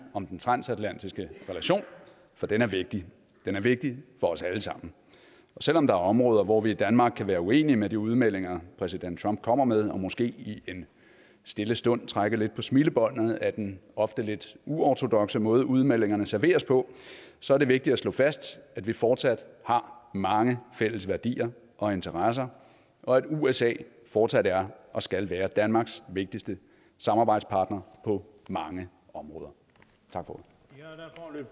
om den transatlantiske relation for den er vigtig den er vigtig for os alle sammen og selv om der er områder hvor vi i danmark kan være uenige i de udmeldinger præsident trump kommer med og måske i en stille stund trækker lidt på smilebåndet ad den ofte lidt uortodokse måde udmeldingerne serveres på så er det vigtigt at slå fast at vi fortsat har mange fælles værdier og interesser og at usa fortsat er og skal være danmarks vigtigste samarbejdspartner på mange områder tak